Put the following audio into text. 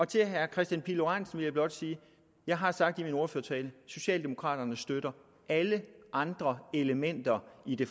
til herre kristian pihl lorentzen vil jeg blot sige jeg har sagt i min ordførertale at socialdemokraterne støtter alle andre elementer i det